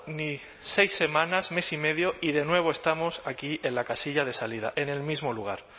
ni seis semanas mes y medio y de nuevo estamos aquí en la casilla de salida en el mismo lugar